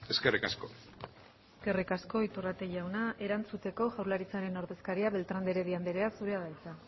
eskerrik asko eskerrik asko iturrate jauna erantzuteko jaurlaritzaren ordezkaria beltrán de heredia anderea zurea da hitza